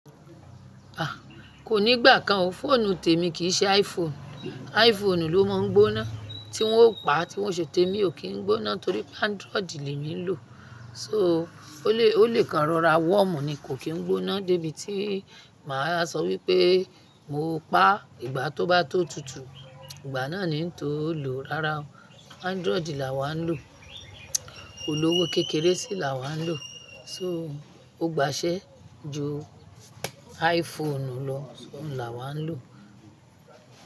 A! Kò ní gbà kan o, fóònù témi kì í ṣe iPhone. iPhone ló má n gbóná tí wọ́n ó paá, tí wọ́n ò ṣe témi o kì í gbóná torí Android lemi n lò. So, ó lè, ó lè kan rọra warm ní kò kí n gbóná débi tí màá sọ wípé mo paá ìgbà tó bá tó tutù. Ìgbà náà ni n tó lò. Rárá o, Android làwà n lò, olówó kékeré sì làwà n lò. So, ó gbàṣé ju iPhone lọ, oun làwà n lò.